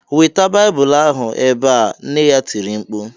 "Weta Bible ahụ ebe ” nne ya tiri mkpu